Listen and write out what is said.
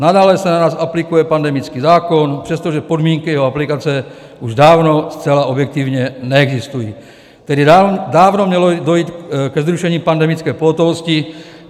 Nadále se na nás aplikuje pandemický zákon, přestože podmínky jeho aplikace už dávno zcela objektivně neexistují, tedy dávno mělo dojít ke zrušení pandemické pohotovosti.